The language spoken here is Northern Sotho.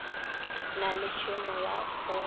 na le tšhemo ya go